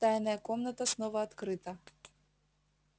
тайная комната снова открыта